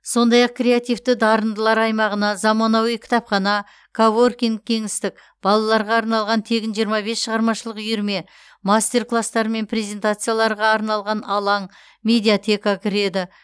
сондай ақ креативті дарындылар аймағына заманауи кітапхана коворкинг кеңістік балаларға арналған тегін жиырма бес шығармашылық үйірме мастер кластар мен презентацияларға арналған алаң медиатека кіреді